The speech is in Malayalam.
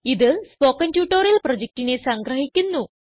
ഇത് സ്പോകെൻ ട്യൂട്ടോറിയൽ പ്രൊജക്റ്റിനെ സംഗ്രഹിക്കുന്നു